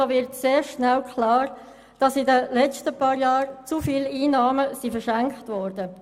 Es wird sehr schnell klar, dass in den letzten Jahren zu viele Einnahmen verschenkt wurden.